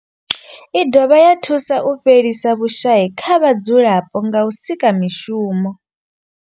I dovha ya thusa u fhelisa vhushayi kha vhadzulapo nga u sika mishumo.